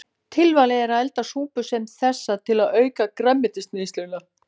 Tilvalið er að elda súpu sem þessa til að auka grænmetisneysluna.